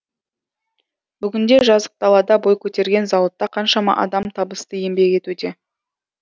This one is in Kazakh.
бүгінде жазық далада бой көтерген зауытта қаншама адам табысты еңбек етуде